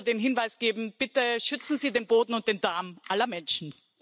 Ich möchte nur den Hinweis geben Bitte schützen Sie den Boden und den Darm aller Menschen.